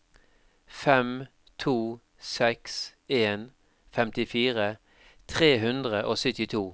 fem to seks en femtifire tre hundre og syttito